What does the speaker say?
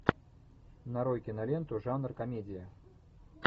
нарой киноленту жанр комедия